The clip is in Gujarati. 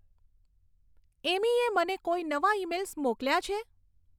એમીએ મને કોઈ નવા ઇમેઇલ્સ મોકલ્યાં છે